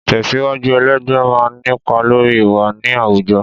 Ìtẹ̀síwájú ẹlẹgbẹ́ máa ń nípa lórí ìwà ní àwùjọ.